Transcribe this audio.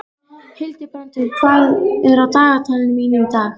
Hildibrandur, hvað er á dagatalinu mínu í dag?